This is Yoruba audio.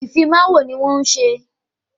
Ìfimawo ni wọ́n ń ṣe